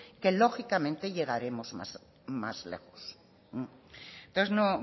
que lógicamente llegaremos más lejos entonces